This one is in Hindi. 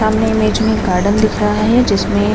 सामने में एक गार्डन दिख रहा है जिसमें --